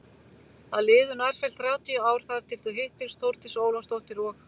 Það liðu nærfellt þrjátíu ár þar til þau hittust Þórdís Ólafsdóttir og